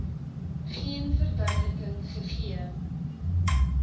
geen verduideliking gegee